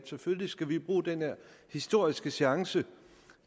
selvfølgelig skal vi bruge den her historiske chance